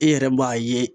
E yɛrɛ b'a ye